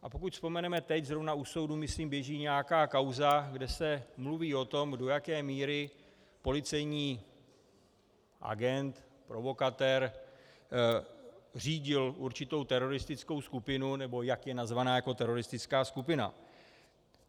A pokud vzpomeneme, teď zrovna u soudu myslím běží nějaká kauza, kde se mluví o tom, do jaké míry policejní agent provokatér řídil určitou teroristickou skupinu, nebo jak je nazvaná jako teroristická skupina.